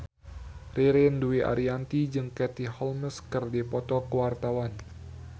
Ririn Dwi Ariyanti jeung Katie Holmes keur dipoto ku wartawan